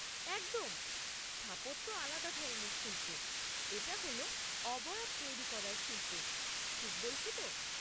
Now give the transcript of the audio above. একদম। স্থাপত্য আলাদা ধরনের শিল্প, এটা হল অবয়ব তৈরি করার শিল্প। ঠিক বলছি তো?